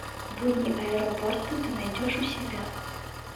будни аэропорта ты найдешь у себя